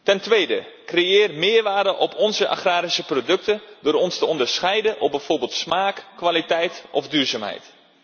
Ten tweede, creëer meerwaarde op onze agrarische producten door ons te onderscheiden op bijvoorbeeld smaak, kwaliteit of duurzaamheid.